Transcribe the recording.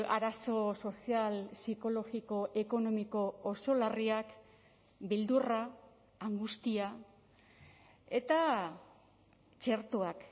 arazo sozial psikologiko ekonomiko oso larriak beldurra angustia eta txertoak